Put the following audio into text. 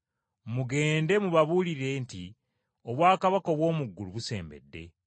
Mugende mubabuulire nti, ‘Obwakabaka obw’omu ggulu busembedde.’